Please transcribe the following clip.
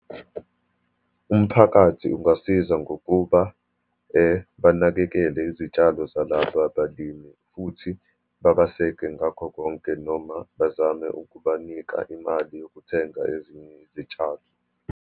Umphakathi ungasiza, ngokuba banakekele izitshalo zalaba abalimi, futhi babaseke ngakho konke, noma bazame ukubanika imali yokuthenga ezinye izitshalo.